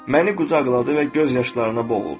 Məni qucaqladı və göz yaşlarına boğuldu.